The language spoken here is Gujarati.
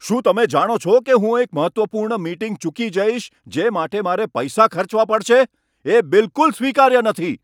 શું તમે જાણો છો કે હું એક મહત્વપૂર્ણ મીટિંગ ચૂકી જઈશ, જે માટે મારે પૈસા ખર્ચવા પડશે? એ બિલકુલ સ્વીકાર્ય નથી.